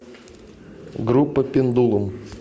группа пендулум